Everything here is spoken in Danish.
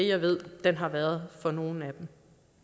jeg ved den har været for nogle af dem